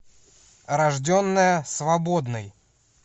рожденная свободной